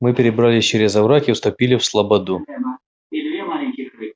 мы перебрались через овраг и вступили в слободу